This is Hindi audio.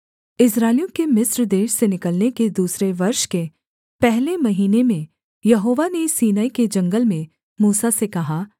इस्राएलियों के मिस्र देश से निकलने के दूसरे वर्ष के पहले महीने में यहोवा ने सीनै के जंगल में मूसा से कहा